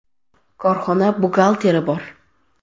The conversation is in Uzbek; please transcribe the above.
Korxona buxgalteri bor.